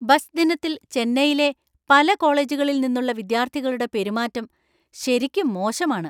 Bus ദിനത്തിൽ ചെന്നൈയിലെ പല കോളേജുകളിൽ നിന്നുള്ള വിദ്യാർത്ഥികളുടെ പെരുമാറ്റം ശരിക്കും മോശമാണ്.